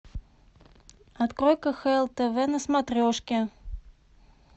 открой кхл тв на смотрешке